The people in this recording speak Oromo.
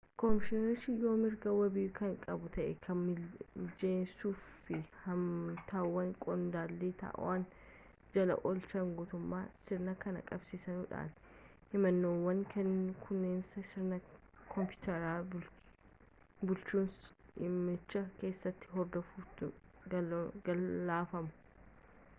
koomishinerichi yoo mirga wabii kan qabu ta'e kan mijessuufiif fi himatawwan qondaala to'annoo jala oolcheen guutaman sirna kan qabsiisudha himannaawwan kunneenis sirna kompiiteraa bulchiinsa dhimmichi keessatti hordofamuutti galfamu